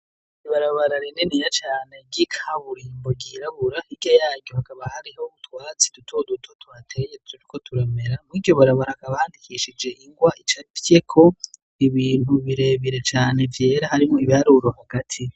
Ibarabarara rininiya cane ry'ikaburimbo gihirabura hika yaryo hakaba hariho butwatsi duto duto twateye turi ko turamera mwiryo barabaraka ba handikishije ingwa icafye ko ibintu birebire cane vyera harimo ibiarurohu gati.